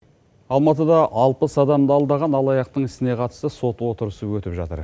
алматыда алпыс адамды алдаған алаяқтың ісіне қатысты сот отырысы өтіп жатыр